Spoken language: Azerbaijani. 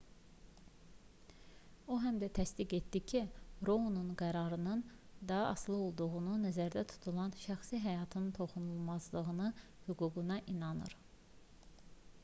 o həm də təsdiq etdi ki rounun qərarının da asılı olduğu nəzərdə tutulan şəxsi həyatın toxunulmazlığı hüququna inanır